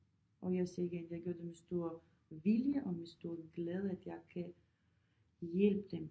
Og jeg siger igen at jeg gør det med stor vilje og med stor glæde at jeg kan hjælpe dem